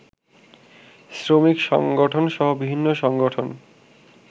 শ্রমিক সংগঠনসহ বিভিন্ন সংগঠন